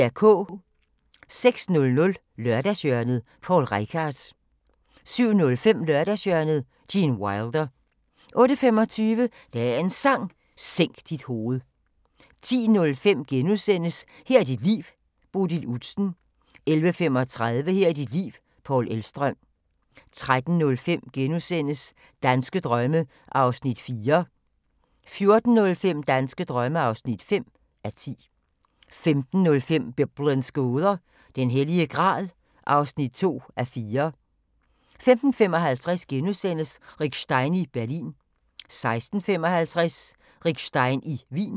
06:00: Lørdagshjørnet – Poul Reichhardt 07:05: Lørdagshjørnet – Gene Wilder 08:25: Dagens Sang: Sænk dit hoved 10:05: Her er dit liv – Bodil Udsen * 11:35: Her er dit liv – Paul Elvstrøm 13:05: Danske drømme (4:10)* 14:05: Danske drømme (5:10) 15:05: Biblens gåder – Den Hellige Gral (2:4) 15:55: Rick Stein i Berlin * 16:55: Rick Stein i Wien